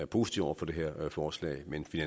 positive over for det her forslag men vi